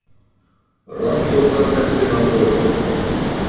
Rannsóknarnefndin að störfum.